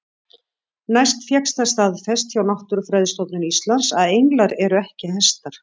Næst fékkst það staðfest hjá Náttúrufræðistofnun Íslands að englar eru ekki hestar.